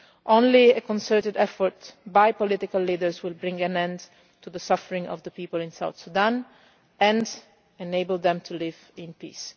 Only a concerted effort by political leaders will bring an end to the suffering of the people in South Sudan and enable them to live in peace.